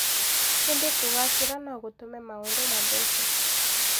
Ĩndĩ kũgaacĩra no gũtũme maũndũ mathũke.